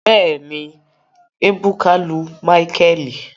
Bẹẹni, ebuka lu micheal